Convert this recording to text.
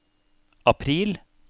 april